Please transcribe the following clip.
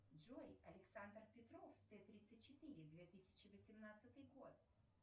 джой александр петров т тридцать четыре две тысячи восемнадцатый год